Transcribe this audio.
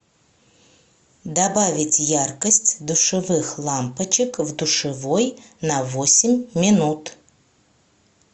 добавить яркость душевых лампочек в душевой на восемь минут